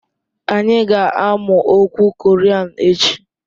Anyị ga-amụ okwu Korean echi